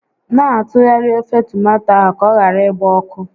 Na atụgharị ofe tomato ahụ ka ọ ghara ịgba ọkụ